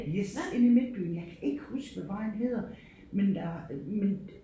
Yes inde i midtbyen jeg kan ikke huske hvad vejen hedder men der men